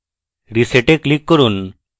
reset এ click করুন